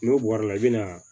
N'o bɔra la i bɛna